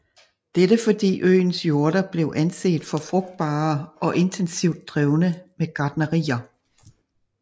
Dette fordi øens jorder blev anset for frugtbare og intensivt drevne med gartnerier